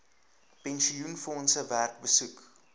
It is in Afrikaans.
pensioenfondse werk besoek